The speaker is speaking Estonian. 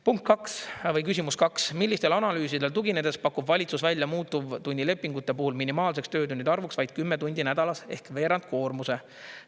Punkt kaks või küsimus kaks: "Millistele analüüsidele tuginedes pakub valitsus välja muutuvtunnilepingute puhul minimaalseks töötundide arvuks vaid 10 tundi nädalas ehk veerandkoormuse?